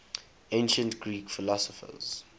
ancient greek philosophers